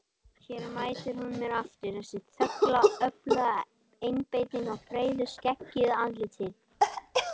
Hér mætir hún mér aftur, þessi þögla öfluga einbeiting á breiðu skeggjuðu andliti.